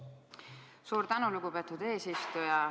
Suur tänu, lugupeetud eesistuja!